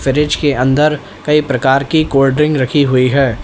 Fridge के अंदर कई प्रकार की कोल्ड ड्रिंक रखी हुई है।